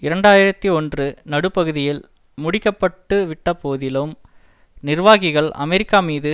இரண்டு ஆயிரத்தி ஒன்று நடுப்பகுதியில் முடிக்கப்பட்டுவிட்ட போதிலும் நிர்வாகிகள் அமெரிக்கா மீது